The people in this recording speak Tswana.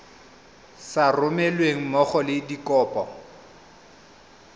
sa romelweng mmogo le dikopo